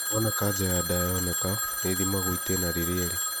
Wona kanja ya nyondo yonekaa, nĩithimagwo itĩna rĩrĩa ĩrĩ